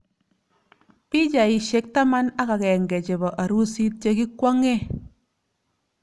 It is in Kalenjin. Pichaisyek taman ak agenge chebo arusit che kikwong'ee